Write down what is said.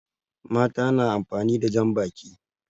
Mata na amfani da jan baki